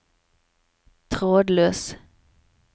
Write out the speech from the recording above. trådløs